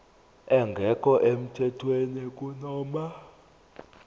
engekho emthethweni kunoma